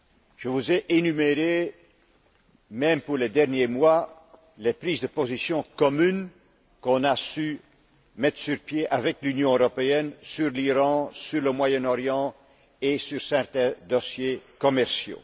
Je vous ai énuméré, même pour les derniers mois, les prises de position communes qu'on a pu élaborer, avec l'Union européenne, sur l'Iran, sur le Moyen Orient et sur certains dossiers commerciaux.